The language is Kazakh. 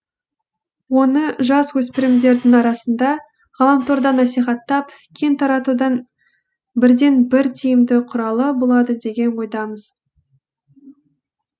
оны жасөспірімдердің арасында ғаламторда насихаттап кең таратудың бірден бір тиімді құралы болады деген ойдамыз